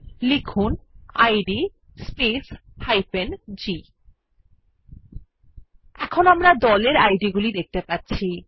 লিখুন ইদ space g এখন আমরা গ্রুপ id গুলি দেখতে পাচ্ছি